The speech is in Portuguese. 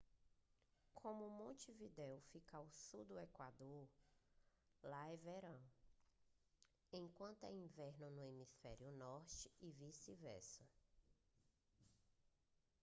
como montevidéu fica ao sul do equador lá é verão enquanto é inverno no hemisfério norte e vice-versa